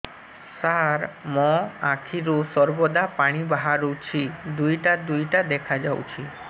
ସାର ମୋ ଆଖିରୁ ସର୍ବଦା ପାଣି ବାହାରୁଛି ଦୁଇଟା ଦୁଇଟା ଦେଖାଯାଉଛି